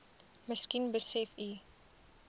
miskien besef u